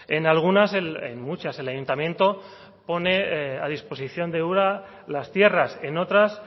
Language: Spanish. en algunas en muchas el ayuntamiento pone a disposición de ura las tierras en otras